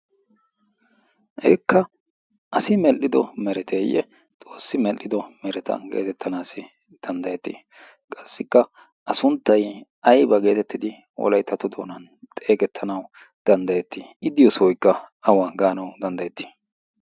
heekka asi medhdhido mereteeyye xoossi medhdhido meretan geetettanaassi danddayettii qassikka a sunttay ayba geetettidi oolayttatu doonan xeegettanau danddayettii iddiyyo sooykka awa gaanawu danddayettii